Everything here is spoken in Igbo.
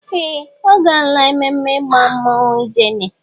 Ee! Ọ gaala ememme ịgba mmọnwụ ijele.